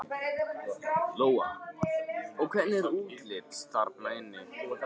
Lóa: Og hvernig er útlits þarna inni?